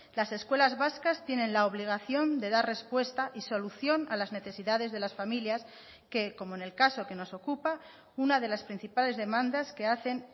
las escuelas vascas tienen la obligación de dar respuesta y solución a las necesidades de las familias que como en el caso que nos ocupa una de las principales demandas que hacen